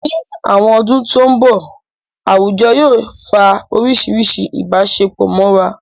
Ní àwọn ọdún tó mbọ̀, àwùjọ yóò fa oríṣiríṣi ìbáṣepọ̀ mọ́ra